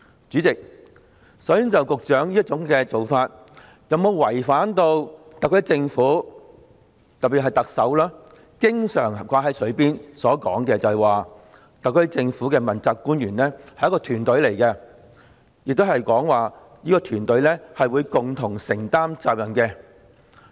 主席，首先，局長這種做法有否違反特區政府——特別是特首經常掛在嘴邊的話——所說，即特區政府的問責官員是一個團隊，而這個團隊會共同承擔責任。